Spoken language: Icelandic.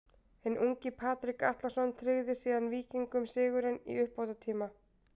Hinn ungi Patrik Atlason tryggði síðan Víkingum sigurinn í uppbótartíma.